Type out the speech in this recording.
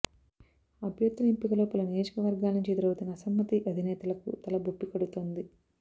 అభ్యర్థుల ఎంపికలో పలు నియోజకవర్గాల నుంచి ఎదురవుతున్న అసమ్మతి అధినేతలకు తలబొప్పికడుతోంది